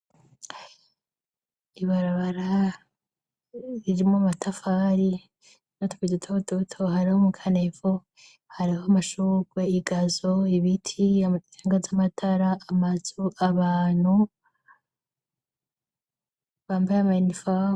Ibarabara ririmwo matafari notka idutorudbuto hariho mukaneevo hari ho amashurwe igazo ibiti anga z'amatara amazu abantu bambaye amayinifaw.